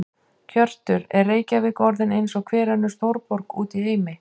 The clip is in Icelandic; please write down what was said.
Hjörtur: Er Reykjavík orðin eins og hver önnur stórborg út í heimi?